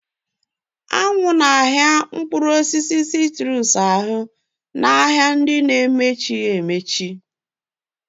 Anyanwụ na-emetụta ìhè Mkpụrụ osisi citrus n'ahịa mepere emepe.